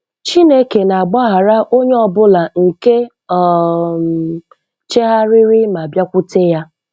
Chineke na-agbaghara onye ọbụla nke um chegharịrị ma bịakwute ya.